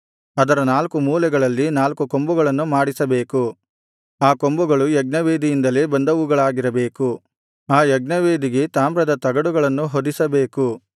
ಅದರ ನಾಲ್ಕು ಮೂಲೆಗಳಲ್ಲಿ ನಾಲ್ಕು ಕೊಂಬುಗಳನ್ನು ಮಾಡಿಸಬೇಕು ಆ ಕೊಂಬುಗಳು ಯಜ್ಞವೇದಿಯಿಂದಲೇ ಬಂದವುಗಳಾಗಿರಬೇಕು ಆ ಯಜ್ಞವೇದಿಗೆ ತಾಮ್ರದ ತಗಡುಗಳನ್ನು ಹೊದಿಸಬೇಕು